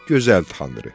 Gözəl Tanrı!